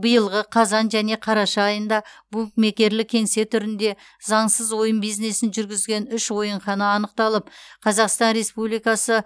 биылғы қазан және қараша айында букмекерлік кеңсе түрінде заңсыз ойын бизнесін жүргізген үш ойынхана анықталып қазақстан республикасы